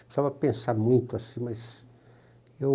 Precisava pensar muito, assim, mas eu...